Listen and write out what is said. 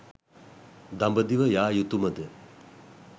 දඹදිව යා යුතුම ද?